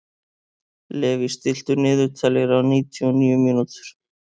Levý, stilltu niðurteljara á níutíu og níu mínútur.